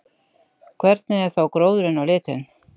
Hvernig er þá gróðurinn á litinn?